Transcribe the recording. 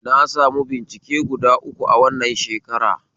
Na sami bincike guda uku a wannan shekara